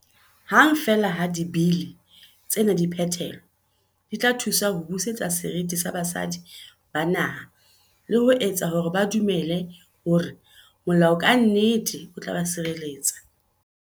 Hang feela ha Dibili tsena di phethelwa, di tla thusa ho busetsa serithi sa basadi ba naha le ho etsa hore ba dumele hore molao ka nnete o tla ba tshirelletsa.